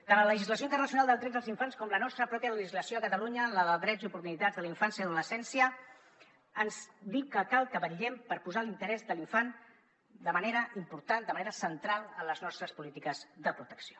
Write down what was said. tant la legislació internacional dels drets dels infants com la nostra pròpia legislació a catalunya la de drets i oportunitats de la infància i l’adolescència ens diuen que cal que vetllem per posar l’interès de l’infant de manera important de manera central en les nostres polítiques de protecció